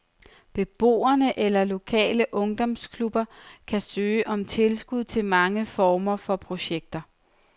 Beboere eller lokale ungdomsklubber kan søge om tilskud til mange former for projekter.